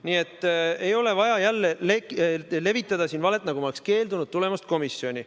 Nii et ei ole vaja jälle levitada siin valet, nagu ma oleksin keeldunud tulemast komisjoni.